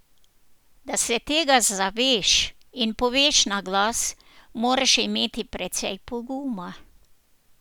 Da se tega zaveš in poveš naglas, moraš imeti precej poguma.